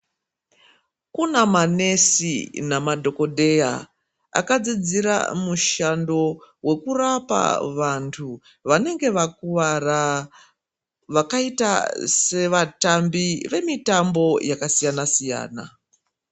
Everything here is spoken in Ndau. Kuna manesi namadhokodheya, akadzidzira mushando wekurapa vantu vanenge vakuvara, vakayita sevatambi vemitambo yakasiyana-siyana.